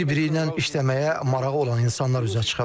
Bir-biri ilə işləməyə marağı olan insanlar üzə çıxıb.